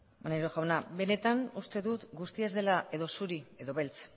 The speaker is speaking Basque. maneiro jauna benetan uste dut guztia ez dela edo zuri edo beltz